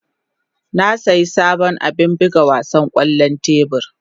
Na sayi sabon abin buga wasan kwallon tebur.